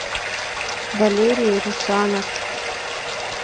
валерий русанов